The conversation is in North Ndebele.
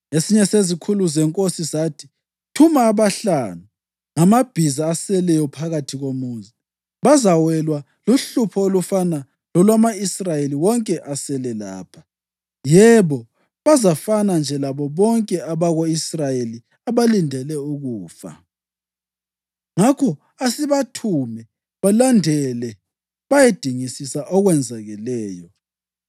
Esinye sezikhulu zenkosi sathi, “Thuma abahlanu ngamabhiza aseleyo phakathi komuzi. Bazawelwa luhlupho olufana lolwama-Israyeli wonke asele lapha, yebo, bazafana nje labo bonke abako-Israyeli abalindele ukufa. Ngakho asibathume balandele bayedingisisa okwenzakeleyo.”